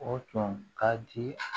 O tun ka di